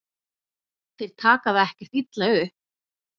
Þeir taka það ekkert illa upp.